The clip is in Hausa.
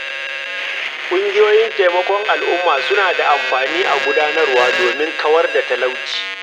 Ƙungiyoyin taimakon al'umma suna da amfani a garuruwa domin kawar da talauci.